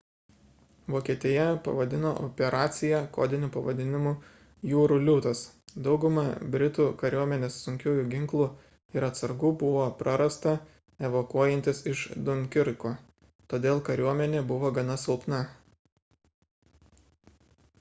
vokietija pavadino operaciją kodiniu pavadinimu jūrų liūtas dauguma britų kariuomenės sunkiųjų ginklų ir atsargų buvo prarasta evakuojantis iš dunkirko todėl kariuomenė buvo gana silpna